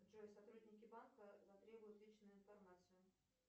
джой сотрудники банка затребуют личную информацию